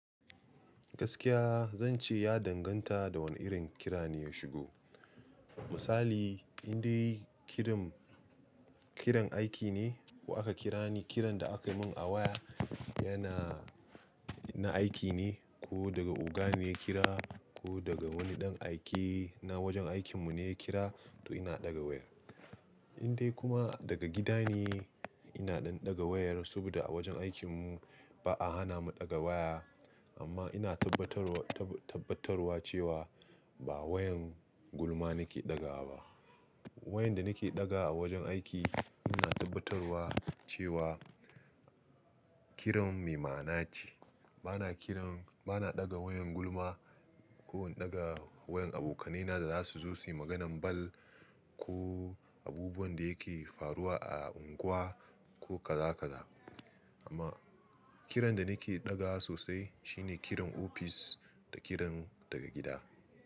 Gaskiya zan ce ya danganta da wane irin kira ne ya shigo. Misali in dai kiran aiki ne ko aka kira ni, kiran da aka yi mun a waya yana na aiki ne ko daga oga ne ya kira ko daga wani ɗan aike na wajen aikin mu ne ya kira to ina ɗaga wayar. In dai kuma daga gida ne ina ɗan ɗaga wayar saboda a wajen aikin mu ba a hana mu ɗaga waya amma ina tabbatarwa, tabbatarwa cewa ba wayan gulma nake ɗaga ba. Wayan da nake ɗaga a wajen aiki ina tabbatarwa cewa kiran mai ma'ana ce. Ba na kiran, ba na ɗaga wayan gulma ko in ɗaga wayan abokanai na da za su zo su yi maganan banza ko abubuwan da yake faruwa a unguwa ko kaza kaza. Amma kiran da nake ɗaga sosai shine kiran ofis da kiran daga gida.